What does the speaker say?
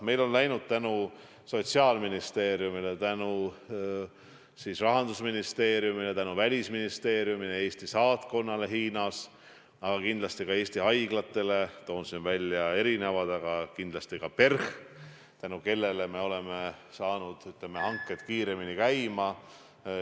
Meil on tänu Sotsiaalministeeriumile, Rahandusministeeriumile, Välisministeeriumile, Eesti saatkonnale Hiinas ja kindlasti ka Eesti haiglatele – neid on teisigi, aga toon siin välja just PERH-i – läinud hanked kiiremini käima.